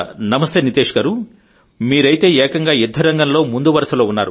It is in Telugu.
నమస్తే నీతేష్ గారు మీరైతే ఏకంగా యుద్ధరంగంలో ముందు వరుసలో